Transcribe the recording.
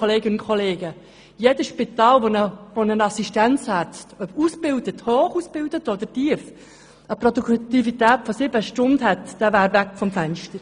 Wenn jeder Assistenzarzt in einem Spital, egal auf welchem Niveau, eine Produktivität von nur sieben Stunden hätte, dann wäre er weg vom Fenster.